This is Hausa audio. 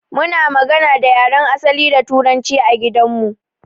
Muna magana da yaren asali da turanci a gidan mu.